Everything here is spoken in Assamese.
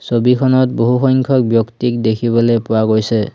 ছবিখনত বহুসংখ্যক ব্যক্তিক দেখিবলৈ পোৱা গৈছে।